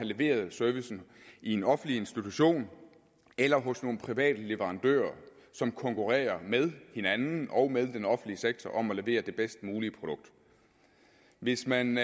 leveret servicen i en offentlig institution eller hos nogle private leverandører som konkurrerer med hinanden og med den offentlige sektor om at levere det bedst mulige produkt hvis man